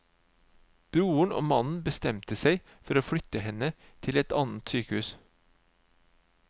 Broren og mannen bestemte seg for å flytte henne til et annet sykehus.